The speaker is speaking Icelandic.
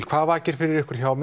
hvað vakir fyrir ykkur hjá